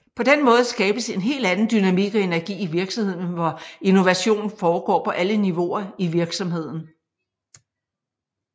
På den måde skabes en helt anden dynamik og energi i virksomheden hvor innovation foregår på alle niveauer i virksomheden